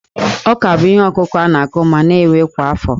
Ọ́kà bụ ihe ọkụkụ a na-akụ ma na-ewe kwa afọ